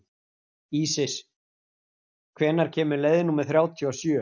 Ísis, hvenær kemur leið númer þrjátíu og sjö?